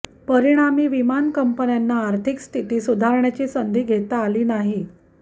परिणामी विमान कंपन्यांना आर्थिक स्थिती सुधारण्याची संधी घेता आली नाही